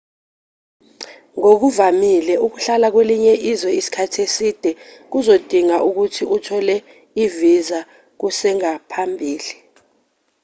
ngokuvamile ukuhlala kwelinye izwe isikhathi eside kuzodinga ukuthi uthole ivisa kusengaphambili